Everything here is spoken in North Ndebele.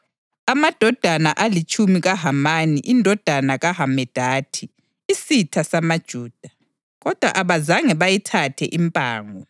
amadodana alitshumi kaHamani indodana kaHamedatha, isitha samaJuda. Kodwa abazange bayithathe impango.